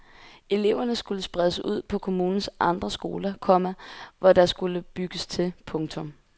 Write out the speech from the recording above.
Eleverne skulle spredes ud på kommunens andre skoler, komma hvor der skulle bygges til. punktum